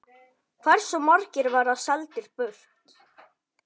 Hversu margir verða seldir burt?